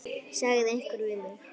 sagði einhver við mig.